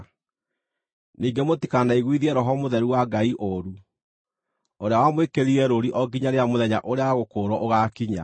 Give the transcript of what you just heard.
Ningĩ mũtikanaiguithie Roho Mũtheru wa Ngai ũũru, ũrĩa wamwĩkĩrire rũũri o nginya rĩrĩa mũthenya ũrĩa wa gũkũũrwo ũgaakinya.